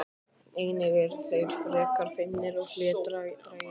Einnig eru þeir frekar feimnir og hlédrægir.